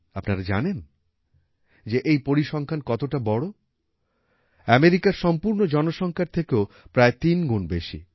আপনারা জানেন যে এই পরিসংখ্যান কতটা বড় আমেরিকার সম্পূর্ণ জনসংখ্যার থেকেও প্রায় তিন গুণ বেশি